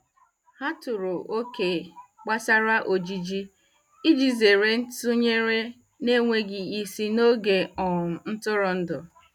Ha tọrọ oke gbasara ojiji iji zere ntụnyere na-enweghị isi n'oge um ntụrụndụ.